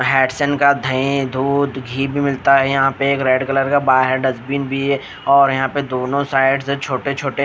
हेडसन का दही दूध घी भी मिलता है यहाँ पे एक रेड कलर का बाहर डस्टबिन भी है और यहाँ पे दोनों साइड से छोटे-छोटे--